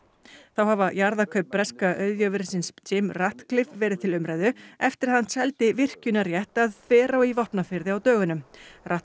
þá hafa jarðakaup breska auðjöfursins Jims Ratcliffe verið til umræðu eftir að hann seldi virkjunarrétt að Þverá í Vopnafirði á dögunum